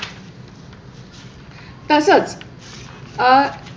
अ